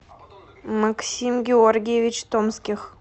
максим георгиевич томских